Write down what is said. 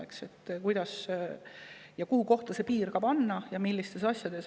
kuidas, millistes asjades ja kuhu tuleks piir tõmmata.